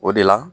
O de la